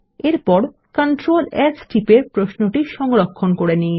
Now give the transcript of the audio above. এরপর control S টিপে প্রশ্নটি সংরক্ষণ করে নিন